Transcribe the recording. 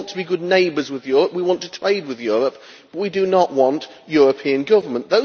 that we want to be good neighbours with Europe we want to trade with Europe but we do not want European government.